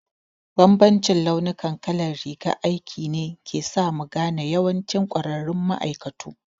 Bambancin launi kalar rigar aiki ne ke sa mu gane yawancin ƙwararru ma'aikatu